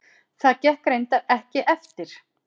Það gekk reyndar ekki eftir.